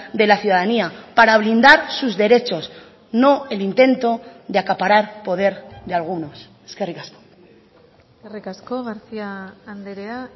de la ciudadanía para blindar sus derechos no el intento de acaparar poder de algunos eskerrik asko eskerrik asko garcía andrea